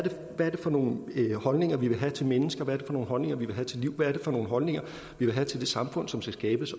det for nogle holdninger vi vil have til mennesker hvad er det for nogle holdninger vi vil have til liv hvad er det for nogle holdninger vi vil have til det samfund som skal skabes